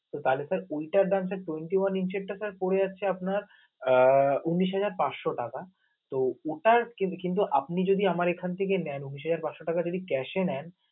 তো কালে ওইটার দাম sir দাম sir twenty one inch র টাকা পড়ে আছে, আহ আপনার উনিশ হাজার পাচশ টাকা তো ওটার কিন্তু আপনি যদি আমার এখান থেকে নেন, উনিশ হাজার পাচ টাকা যদি cash এ নেন